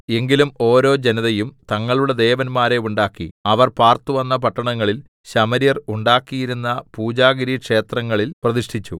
എങ്കിലും ഓരോ ജനതയും തങ്ങളുടെ ദേവന്മാരെ ഉണ്ടാക്കി അവർ പാർത്തുവന്ന പട്ടണങ്ങളിൽ ശമര്യർ ഉണ്ടാക്കിയിരുന്ന പൂജാഗിരിക്ഷേത്രങ്ങളിൽ പ്രതിഷ്ഠിച്ചു